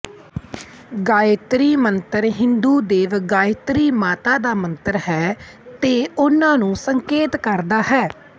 ਗਾਯਤ੍ਰੀ ਮੰਤਰ ਹਿੰਦੂ ਦੇਵੀ ਗਾਯਤ੍ਰੀ ਮਾਤਾ ਦਾ ਮੰਤਰ ਹੈ ਤੇ ਉੰਨਾਂ ਨੂੰ ਸੰਕੇਤ ਕਰਦਾ ਹੈ